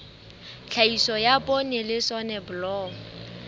tlhahiso ya poone le soneblomo